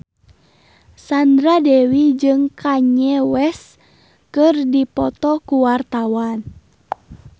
Sandra Dewi jeung Kanye West keur dipoto ku wartawan